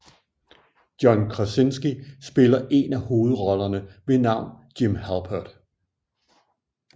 John Krasinski spiller en af hovedrollerne ved navn Jim Halpert